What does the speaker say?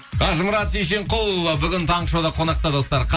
қажымұрат шешенқұл ы бүгін таңғы шоуда қонақта достар